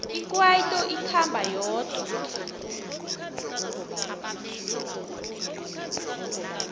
ikwaito ikhamba yodwa